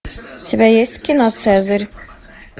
у тебя есть кино цезарь